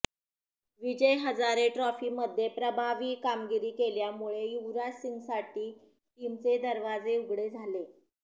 विजय हजारे ट्रॉफीमध्ये प्रभावी कामगिरी केल्यामुळे युवराज सिंगसाठी टीमचे दरवाजे उघडे झाले